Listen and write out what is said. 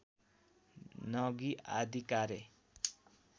नगि आदि कार्य